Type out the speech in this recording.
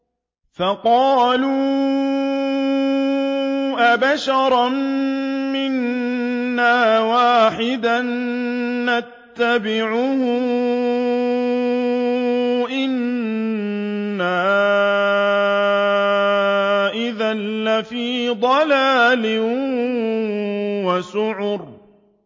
فَقَالُوا أَبَشَرًا مِّنَّا وَاحِدًا نَّتَّبِعُهُ إِنَّا إِذًا لَّفِي ضَلَالٍ وَسُعُرٍ